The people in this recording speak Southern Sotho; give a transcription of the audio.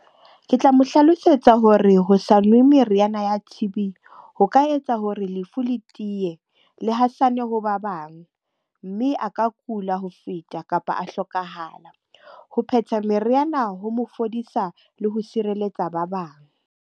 Ke tla mo hlalosetsa hore ho sa nwe meriana ya T_B ho ka etsa hore lefu le tiye, le hasane ho ba bang. Mme a ka kula ho feta kapa a hlokahala. Ho phetha meriana ho mo fodisa le ho sireletsa ba bang.